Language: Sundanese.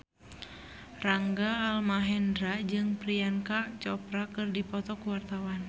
Rangga Almahendra jeung Priyanka Chopra keur dipoto ku wartawan